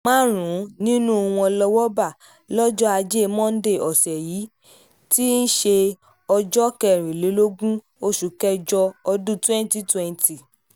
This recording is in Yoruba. márùn-ún nínú wọn lowó bá lọ́jọ́ ajé monde ọ̀sẹ̀ yìí tí um í ṣe ọjọ́ kẹrìnlélógún oṣù kẹjọ um ọdún twenty twenty